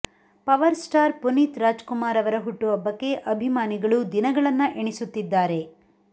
power star Puneeth Raj Kumar ಅವರ ಹುಟ್ಟುಹಬ್ಬಕ್ಕೆ ಅಭಿಮಾನಿಗಳು ದಿನಗಳನ್ನ ಎಣಿಸುತ್ತಿದ್ದಾರೆ